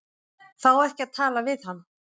Fá ekki að tala við hann